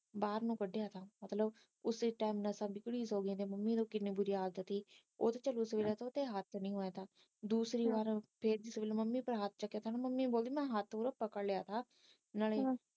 ਬਾਹਰ ਨੂੰ ਕਢਿਆ ਮਤਲਬ ਉਸੀ ਟੈਮ ਹੱਥ ਨਹੀਂ ਮਾਰਨਾ ਦੂਸਰੀ ਵਾਰ ਫਿਰ ਮੰਮੀ ਪਰ ਹੱਥ ਚੱਕਿਆ ਤਾ ਮੰਮੀ ਬੋਲੀ ਮੈ ਹੱਥ ਓਦਾਂ ਪਕੜ ਲਿਆ ਥਾ ਨਾਲੇ